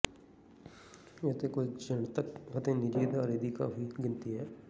ਇੱਥੇ ਕੁਝ ਜਨਤਕ ਅਤੇ ਨਿੱਜੀ ਅਦਾਰੇ ਦੀ ਕਾਫੀ ਗਿਣਤੀ ਹੈ